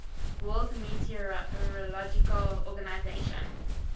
world meteorological organization